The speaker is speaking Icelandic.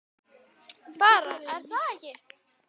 Bara, er það ekki?